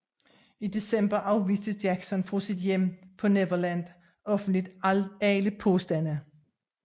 I december afviste Jackson fra sit hjem på Neverland offentligt alle påstande